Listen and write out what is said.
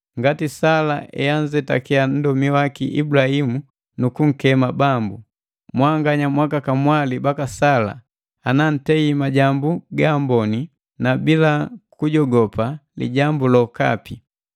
Ngati Sala eanzetakia nndomi waki Ibulahimu nukunkema Bambu. Mwanganya mwakakamwali baka Sala ana ntei majambu gaambonii na bila kujogopa lijambu lokapi.